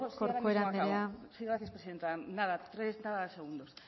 asko corcuera andrea sí ahora mismo acabo sí gracias presidenta nada treinta segundos